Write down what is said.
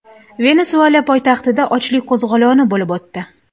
Venesuela poytaxtida ochlik qo‘zg‘oloni bo‘lib o‘tdi.